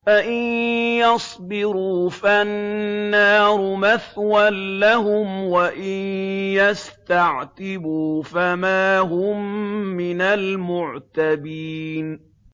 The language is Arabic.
فَإِن يَصْبِرُوا فَالنَّارُ مَثْوًى لَّهُمْ ۖ وَإِن يَسْتَعْتِبُوا فَمَا هُم مِّنَ الْمُعْتَبِينَ